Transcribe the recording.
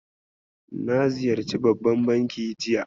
Na ziyarci babban banki jiya.